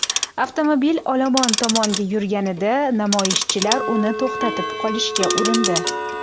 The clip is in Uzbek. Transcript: Avtomobil olomon tomonga yurganida namoyishchilar uni to‘xtatib qolishga urindi.